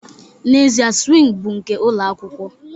N'ezie, swing bụ nke ụlọ akwụkwọ